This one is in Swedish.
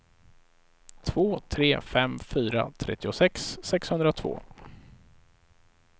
två tre fem fyra trettiosex sexhundratvå